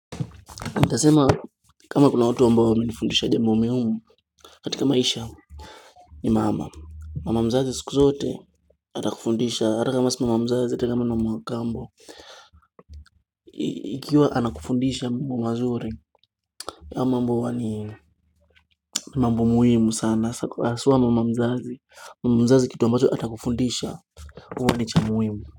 Nitasema kama kuna watu wa ambao wamenifundisha jambo muhimu katika maisha ni mama mama mzazi siku zote atakufundisha ata kama si mama mzazi ata kama ni mama wa kambo Ikiwa anakufundisha mambo mazuri hayo mambo ni mambo muhimu sana haswa mama mzazi Mama mzazi kitu ambacho atakufundisha huwa ni cha muhimu.